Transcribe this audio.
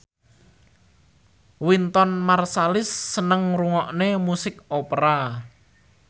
Wynton Marsalis seneng ngrungokne musik opera